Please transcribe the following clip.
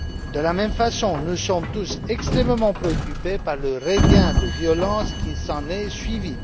De la même façon, nous sommes tous extrêmement préoccupés par le regain de violence qui s'en est suivi.